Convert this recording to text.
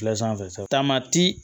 sa taamati